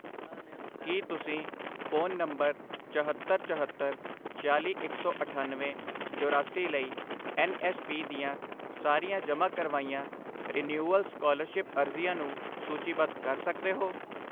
ਕੀ ਤੁਸੀਂ phone number ਚਹੱਤਰ, ਚਹੱਤਰ, ਛਿਆਲੀ, ਇੱਕ ਸੌ ਅਠੱਨਵੇਂ, ਚੌਰਾਸੀ ਲਈ ਐੱਨ ਐੱਸ ਪੀ ਦੀਆਂ ਸਾਰੀਆਂ ਜਮ੍ਹਾਂ ਕਰਵਾਈਆਂ ਰਿਨਿਵੇਲ ਸਕਾਲਰਸ਼ਿਪ ਅਰਜ਼ੀਆਂ ਨੂੰ ਸੂਚੀਬੱਧ ਕਰ ਸਕਦੇ ਹੋ?